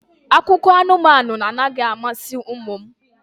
Akụkọ anụmanụ anaghị amasị ụmụ m